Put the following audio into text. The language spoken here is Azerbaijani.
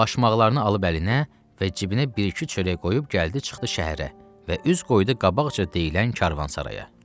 Başmaqlarını alıb əlinə və cibinə bir-iki çörək qoyub gəldi, çıxdı şəhərə və üz qoydu qabaqca deyilən Karvansaraya.